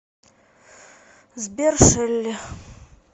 сбер шелли